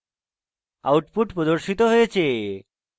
output প্রদর্শিত হয়েছে